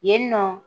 Yen nɔ